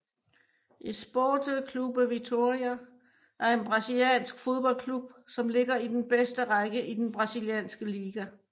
Esporte Clube Vitória er en brasiliansk fodboldklub som ligger i den bedste række i den brasilianske liga